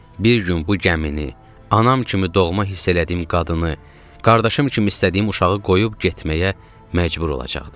Bir gün bu gəmini, anam kimi doğma hiss elədiyim qadını, qardaşım kimi istədiyim uşağı qoyub getməyə məcbur olacaqdım.